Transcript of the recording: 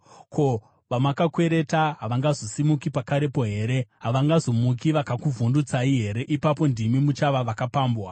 Ko, vamakakwereta havangazosimuki pakarepo here? Havangazomuki vakakuvhundutsai here? Ipapo ndimi muchava vakapambwa.